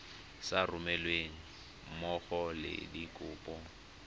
sa romelweng mmogo le dikopo